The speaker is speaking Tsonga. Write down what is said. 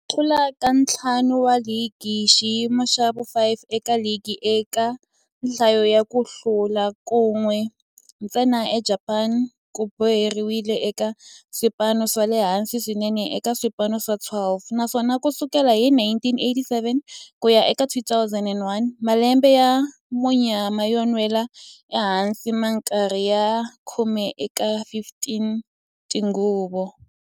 Ku hlula ka ntlhanu wa ligi xiyimo xa vu 5 eka ligi eka nhlayo ya ku hlula, kan'we ntsena eJapani ku boheleriwile eka swipano swa le hansi swinene eka swipano swa 12, naswona ku sukela hi 1987 ku ya eka 2001, malembe ya munyama yo nwela ehansi minkarhi ya khume eka 15 tinguva.